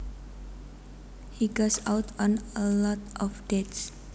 He goes out on a lot of dates